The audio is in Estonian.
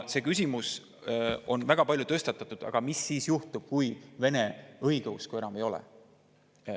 Väga palju on tõstatatud seda küsimust, et aga mis siis juhtub, kui vene õigeusku enam ei ole.